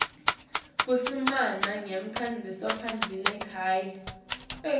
kusimama kwasemaphandleni kanye